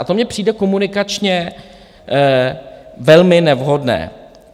A to mně přijde komunikačně velmi nevhodné.